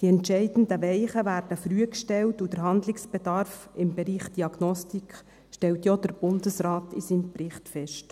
Die entscheidenden Weichen werden früh gestellt und der Handlungsbedarf im Bereich Diagnostik stellt ja auch der Bundesrat in seinem Bericht fest.